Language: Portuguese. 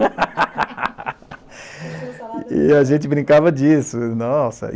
tinha salada. E a gente brincava disso. Nossa